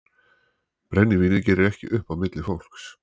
Brennivínið gerir ekki upp á milli fólks.